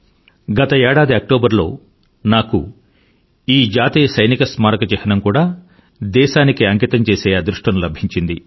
గత ఏడాది అక్టోబర్ లో నాకు ఈ జాతీయ సైనిక స్మారక చిహ్నం కూడా దేశానికి అంకితంచేసే అదృష్టం లభించింది